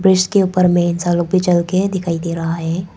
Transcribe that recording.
इसके ऊपर में चलके दिखाई दे रहा है।